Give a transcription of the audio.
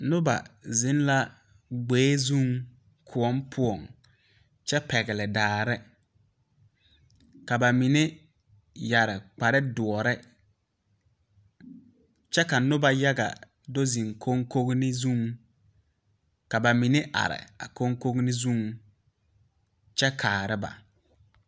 Nobɔ zeŋ la gboe zuŋ kòɔ poɔŋ kyɛ pɛgle daare ka ba mine yɛre kparedoɔre kyɛ ka nobɔ yaga do zeŋ koŋkoneŋ ka ba mine are a koŋkoneŋ zuŋ kyɛ kaara ba.